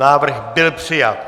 Návrh byl přijat.